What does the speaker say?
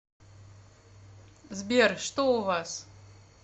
сбер что у вас